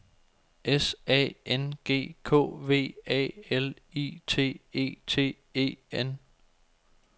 S A N G K V A L I T E T E N